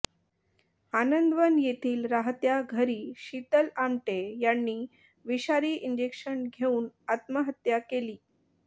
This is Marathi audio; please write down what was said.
आनंदवन येथील राहत्या घरी शीतल आमटे यांनी विषारी इंजेक्शन घेऊन आत्महत्या केली